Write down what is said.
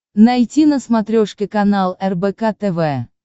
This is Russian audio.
найти на смотрешке канал рбк тв